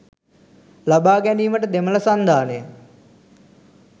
ලබා ගැනීමට දෙමල සංධානය